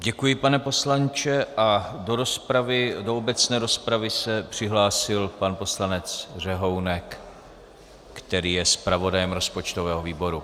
Děkuji, pane poslanče, a do obecné rozpravy se přihlásil pan poslanec Řehounek, který je zpravodajem rozpočtového výboru.